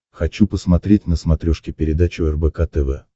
хочу посмотреть на смотрешке передачу рбк тв